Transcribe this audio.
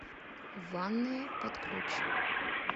ванная под ключ